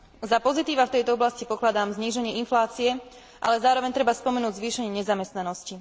Za pozitíva v tejto oblasti pokladám zníženie inflácie, ale zároveň treba spomenúť zvýšenie nezamestnanosti.